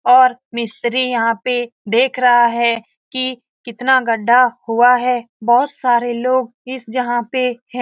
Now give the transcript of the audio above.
और मिस्त्री यहाँ पे देख रहा है की कितना गड्ढा हुआ है बहुत सारे लोग इस जहाँ पे हैं ।